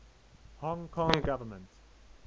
hong kong government